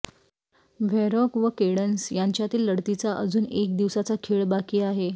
व्हेरॉक व केडन्स यांच्यातील लढतीचा अजून एक दिवसाचा खेळ बाकी आहे